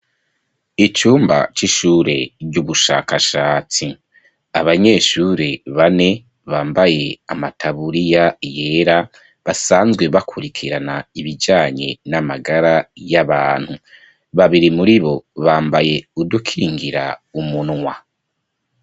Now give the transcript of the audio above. Icumba c'ishure ry'ubushakashatsi. Abanyeshure bane bambaye amataburiya yera, basanzwe bakurikirana ibijanye n'amagara y'abantu. Babiri muribo bambaye udukingira umunwa.